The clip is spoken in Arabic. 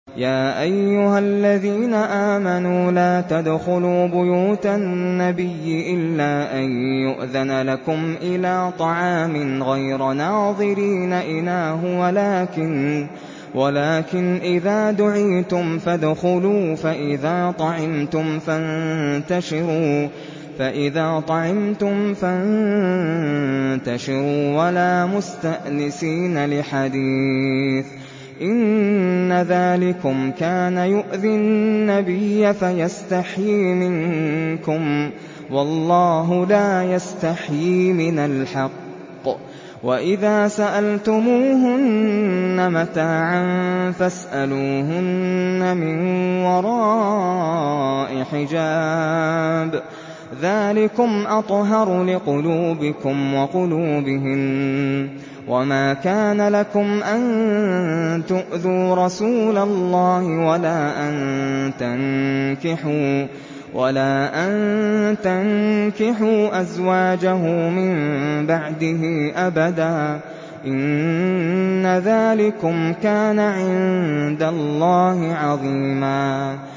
يَا أَيُّهَا الَّذِينَ آمَنُوا لَا تَدْخُلُوا بُيُوتَ النَّبِيِّ إِلَّا أَن يُؤْذَنَ لَكُمْ إِلَىٰ طَعَامٍ غَيْرَ نَاظِرِينَ إِنَاهُ وَلَٰكِنْ إِذَا دُعِيتُمْ فَادْخُلُوا فَإِذَا طَعِمْتُمْ فَانتَشِرُوا وَلَا مُسْتَأْنِسِينَ لِحَدِيثٍ ۚ إِنَّ ذَٰلِكُمْ كَانَ يُؤْذِي النَّبِيَّ فَيَسْتَحْيِي مِنكُمْ ۖ وَاللَّهُ لَا يَسْتَحْيِي مِنَ الْحَقِّ ۚ وَإِذَا سَأَلْتُمُوهُنَّ مَتَاعًا فَاسْأَلُوهُنَّ مِن وَرَاءِ حِجَابٍ ۚ ذَٰلِكُمْ أَطْهَرُ لِقُلُوبِكُمْ وَقُلُوبِهِنَّ ۚ وَمَا كَانَ لَكُمْ أَن تُؤْذُوا رَسُولَ اللَّهِ وَلَا أَن تَنكِحُوا أَزْوَاجَهُ مِن بَعْدِهِ أَبَدًا ۚ إِنَّ ذَٰلِكُمْ كَانَ عِندَ اللَّهِ عَظِيمًا